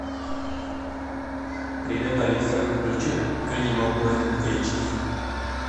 привет алиса включи энимал плэнет эйч ди